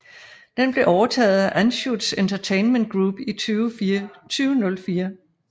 Den blev overtaget af Anschutz Entertainment Group i 2004